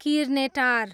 Kirnetar